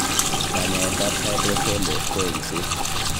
Kanyaetab hydrocele ko eng'set.